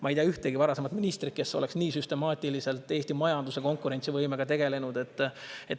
Ma ei tea ühtegi varasemat ministrit, kes oleks nii süstemaatiliselt Eesti majanduse konkurentsivõimega tegelenud.